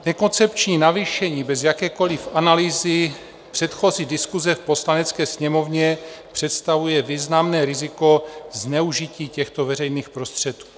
Nekoncepční navýšení bez jakékoliv analýzy, předchozí diskuse v Poslanecké sněmovně, představuje významné riziko zneužití těchto veřejných prostředků.